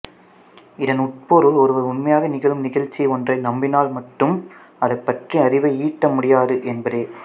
இதன் உட்பொருள் ஒருவர் உண்மையாக நிகழும் நிகழ்ச்சி ஒன்றை நம்பினால் மட்டும் அது பற்றிய அறிவை ஈட்ட முடியாது என்பதே